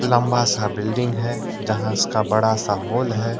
लंबा सा बिल्डिंग है यहां इसका बड़ा सा हॉल है।